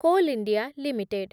coal India limited